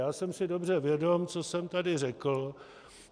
Já jsem si dobře vědom, co jsem tady řekl.